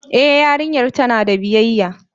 E yarinyar tana da biyayya.